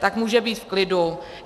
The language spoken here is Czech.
Tak může být v klidu.